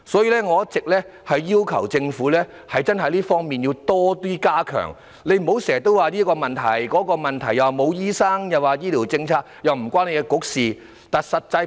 因此，我一直要求政府加強這方面的服務，局長不要諸多藉口，例如推諉醫生不足，或醫療政策與其管轄的政策局無關。